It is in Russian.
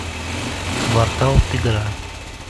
воркаут игра